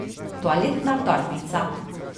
Toaletna torbica.